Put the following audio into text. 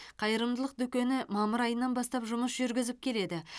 қайырымдылық дүкені мамыр айынан бастап жұмыс жүргізіп келеді